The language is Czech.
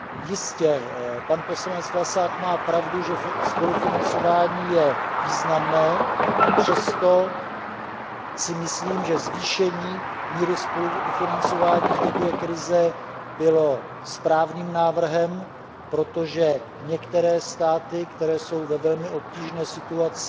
Jistě, pan poslanec Vlasák má pravdu, že spolufinancování je významné, přesto si myslím, že zvýšení míry spolufinancování v době krize bylo správným návrhem, protože některé státy, které jsou ve velmi obtížné situaci,